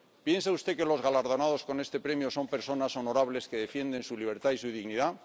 ¿Piensa usted que los galardonados con este Premio son personas honorables que defienden su libertad y su dignidad?